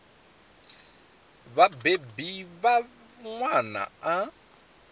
vha vhabebi vha ṅwana a